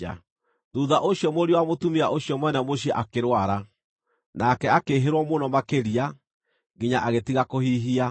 Thuutha ũcio mũriũ wa mũtumia ũcio mwene mũciĩ akĩrwara. Nake akĩĩhĩrwo mũno makĩria, nginya agĩtiga kũhihia.